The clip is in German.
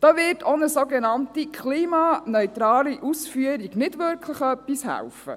Da wird auch eine sogenannte klimaneutrale Ausführung nicht wirklich etwas helfen.